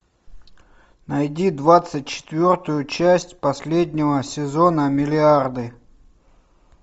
найди двадцать четвертую часть последнего сезона миллиарды